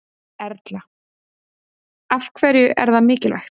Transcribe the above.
Erla: Af hverju er það mikilvægt?